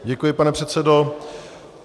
Děkuji, pane předsedo.